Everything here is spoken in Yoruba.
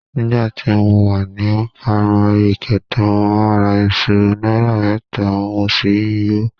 Nígbà tí mo wà ní pámárì kẹta, mo ra iṣu náírà mẹ́ta mo sì yò ó